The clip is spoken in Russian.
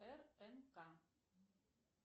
рнк